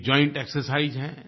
एक joint exercise है